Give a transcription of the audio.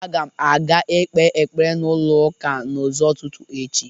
Aga m aga ikpe ekpere n'ulọ ụka n'ụzọ ụtụtu echi.